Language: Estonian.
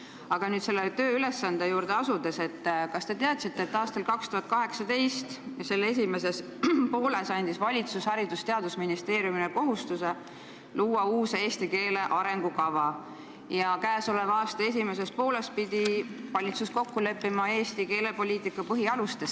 Aga nüüd selle tööülesande juurde asudes: kas te teadsite, et aastal 2018 ja selle esimeses pooles pani valitsus Haridus- ja Teadusministeeriumile kohustuse luua uus eesti keele arengukava ja käesoleva aasta esimeses pooles pidi valitsus kokku leppima Eesti keelepoliitika põhialustes?